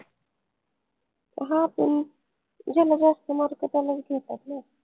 हां पन ज्यांना जास्त mark त्यांनाच घेतात ना